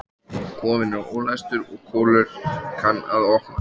Kofinn er ólæstur og Kolur kann að opna.